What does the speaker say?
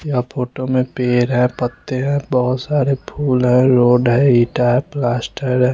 या फोटो में पेड़ है पत्त्ते है बहुत सारे फूल है रोड है ईटा रे प्लास्टर है।